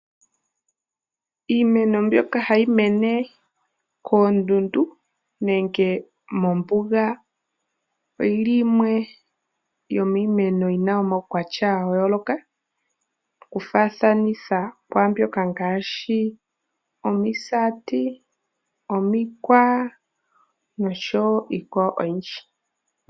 Iimeno mbyoka ha yi mene kondundu nenge mombuga, oyi li yimwe yomiimeno yina omaukwatya ga yooloka oku faathanitha kwaambyoka nfaashi, omisati, omikwa nosjo wo iikwawo oyindji.